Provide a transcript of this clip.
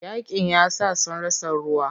Yaƙin yasa sun rasa ruwa.